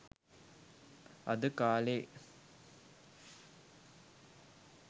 අද කාලෙ